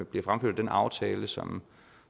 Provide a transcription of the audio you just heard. bliver fremført den aftale som